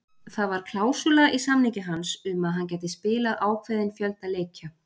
Það ar klásúla í samningi hans um að hann gæti spilað ákveðinn fjölda leikja.